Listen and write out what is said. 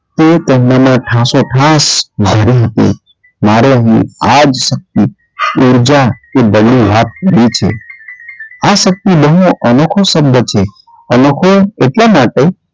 તે તેમનામાં ઠાસો - ઠાસ ભરી હતી મારી અહીં આ જ શક્તિ ઉર્જા તે વાત કરી છે આ શક્તિ બવ અનોખો શબ્દ છે અનોખો એટલાં માટે,